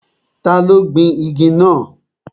Ta ló gbin igi náà?